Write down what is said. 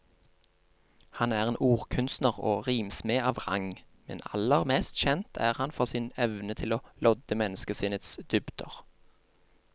Han er en ordkunstner og rimsmed av rang, men aller mest kjent er han for sin evne til å lodde menneskesinnets dybder.